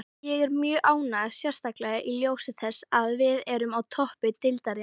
Ég er mjög ánægður, sérstaklega í ljósi þess að við erum á toppi deildarinnar.